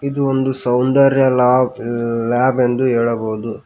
ಇದು ಒಂದು ಸೌಂದರ್ಯ ಲಾಬ್ ಲ್ಯಾಬ್ ಎಂದು ಹೇಳಬೋದು.